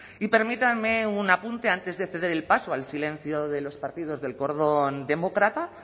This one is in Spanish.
y permítanme un apunte antes de ceder el paso al silencio de los partidos del cordón demócrata